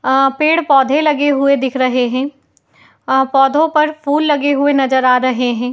आ पेड़ पोधे लगे हुए दिख रहे हैं | अ पौधों पर फूल लगे हुए नजर आ रहे हैं |